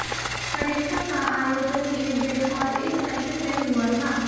परीक्षा का आयोजन एक दिन और एक सेशन में हुआ था